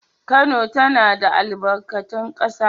Kano tana da albarkatun ƙasa